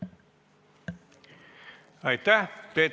Aitäh!